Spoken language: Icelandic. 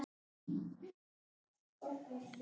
Ef ég get.